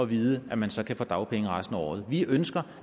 vished at man så kan få dagpenge resten af året vi ønsker